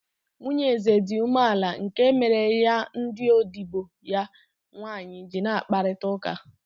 Nwunye eze dị umeala nke mere ya ndị odibo ya nwaanyị ji n'akparịta ụka.